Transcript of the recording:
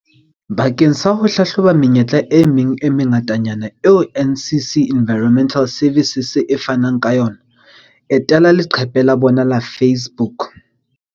Bakeng sa ho hlahloba menyetla e meng e mengatanyana eo NCC Environmental Services di fanang ka yona, etela leqephe la bona la Face-book.